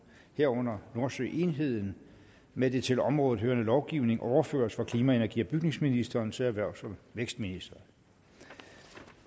herunder nordsøenheden med den til området hørende lovgivning overføres fra klima energi og bygningsministeren til erhvervs og vækstministeren